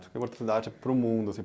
para o mundo assim